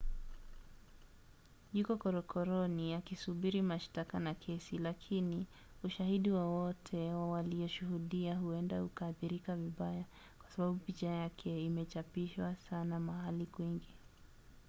yuko korokoroni akisubiri mashtaka na kesi lakini ushahidi wowote wa walioshuhudia huenda ukaathirika vibaya kwa sababu picha yake imechapishwa sana mahali kwingi